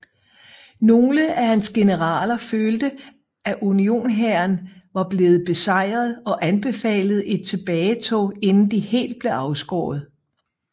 Nogle af hans generaler følte at Unionshæren var blevet besejret og anbefalede et tilbagetog inden de helt blev afskåret